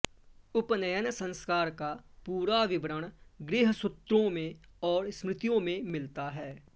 उपनयन संस्कार का पूरा विवरण गृह्यसूत्रों और स्मृतियों में मिलता है